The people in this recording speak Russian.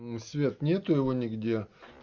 свет нету его нигде